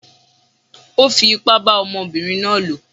Ó fi ipá bá ọmọbìnrin náà lò.